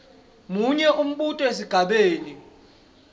munye umbuto esigabeni